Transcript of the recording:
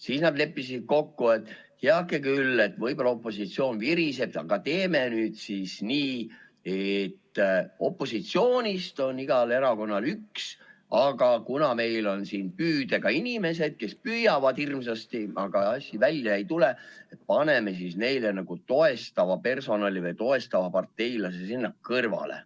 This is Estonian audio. Siis nad leppisid kokku, et heake küll, võib-olla opositsioon viriseb, aga teeme nüüd siis nii, et opositsioonist on igal erakonnal üks, aga kuna meil on siin püüdega inimesed, kes püüavad hirmsasti, aga asi välja ei tule, siis paneme neile nagu toestava personali või toestava parteilase sinna kõrvale.